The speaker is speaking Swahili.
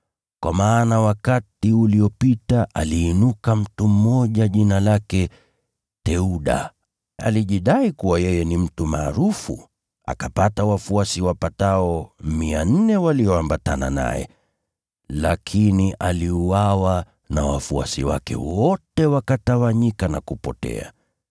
Kwa maana wakati uliopita, aliinuka mtu mmoja jina lake Theuda, alijidai kuwa yeye ni mtu maarufu, akapata wafuasi wapatao 400 walioambatana naye. Lakini aliuawa, na wafuasi wake wote wakatawanyika, wakawa si kitu.